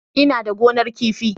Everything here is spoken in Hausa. Ina da gonar kifi.